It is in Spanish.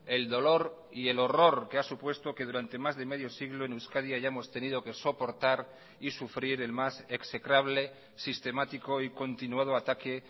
el dolor y el horror que ha supuesto que durante más de medio siglo en euskadi hayamos tenido que soportar y sufrir el más execrable sistemático y continuado ataque